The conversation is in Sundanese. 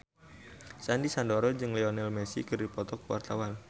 Sandy Sandoro jeung Lionel Messi keur dipoto ku wartawan